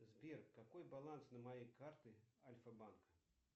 сбер какой баланс на моей карте альфа банка